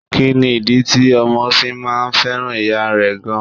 Kí ni ìdí tí ọmọ fi máa fẹ́ràn ìyá rẹ gan?